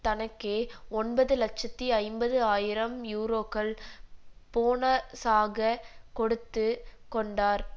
தனக்கே ஒன்பது இலட்சத்தி ஐம்பது ஆயிரம் யூரோக்கள் போன ஸாகக் கொடுத்து கொண்டார்